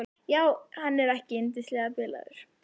Já, er hann ekki yndislega bilaður.